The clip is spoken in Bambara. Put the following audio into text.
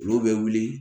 Olu bɛ wuli